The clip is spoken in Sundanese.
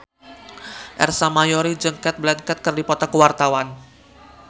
Ersa Mayori jeung Cate Blanchett keur dipoto ku wartawan